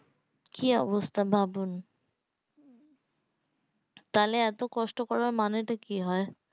কি অবস্থা ভাবন তাহলে এত কষ্ট করার মানে তো কি হয়